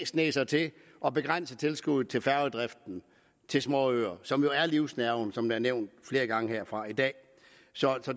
sniger sig til at begrænse tilskuddet til småøernes som jo er livsnerven som det er nævnt flere gange herfra i dag så